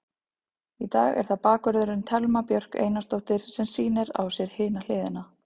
Í dag er það bakvörðurinn, Thelma Björk Einarsdóttir sem sýnir á sér hina hliðina.